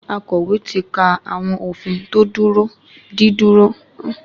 Akọ̀wé ti ka àwọn òfin tò dìrọ̀mọ́ dídúró sí yàrá ẹjọ́.